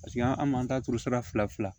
Paseke an m'an ta turu sara fila fila la